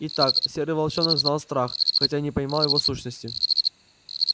итак серый волчонок знал страх хотя и не понимал его сущности